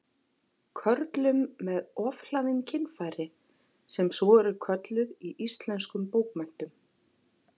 Körlum með ofhlaðin kynfæri, sem svo eru kölluð í íslenskum bókmenntum.